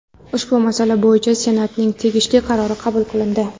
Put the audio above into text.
Ushbu masala bo‘yicha Senatning tegishli qarori qabul qilindi.